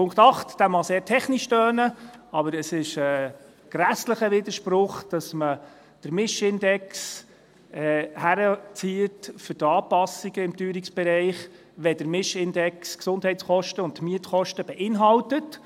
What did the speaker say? Punkt 8 mag sehr technisch tönen, aber es ist ein grässlicher Widerspruch, dass man den Mischindex für die Anpassungen im Teuerungsbereich heranzieht, wenn der Mischindex die Gesundheitskosten und die Mietkosten beinhaltet.